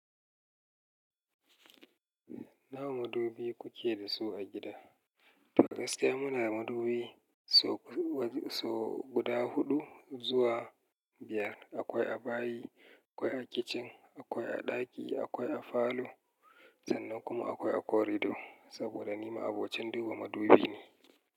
Nawa madubi kuke da su a gida? Fakas da muna madubi sau guda huɗu zuwa biyar. Akwai a bayi, akwai a kitchen, akwai a ɗaki, akwai a falo sannan kuma akwai a corridor. Saboda ni ma abokin ɗuba madubi ne.